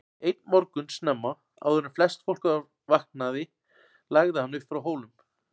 Einn morgun snemma, áður en flest fólk var vaknaði lagði hann upp frá Hólum.